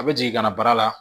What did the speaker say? A bɛ jigin ka na baara la